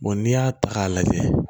n'i y'a ta k'a lajɛ